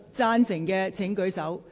贊成的請舉手。